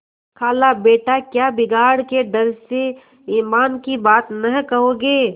खालाबेटा क्या बिगाड़ के डर से ईमान की बात न कहोगे